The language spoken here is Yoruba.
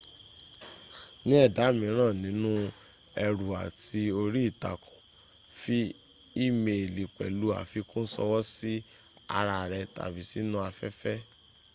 ni ẹ̀dà míràn nínú ẹrù àti orí ìtàkùn fi ímeèlì pẹ̀lú àfikún ṣọwọ́ sí ara rẹ̀ tàbí sínú afẹ́fẹ́”